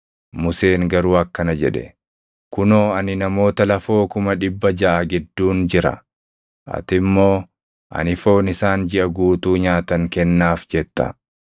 Museen garuu akkana jedhe; “Kunoo ani namoota lafoo kuma dhibba jaʼa gidduun jira; ati immoo, ‘Ani foon isaan jiʼa guutuu nyaatan kennaaf!’ jetta.